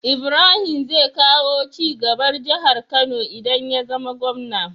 Ibrahim zai kawo cigaba jahar kano idan yazama gwamna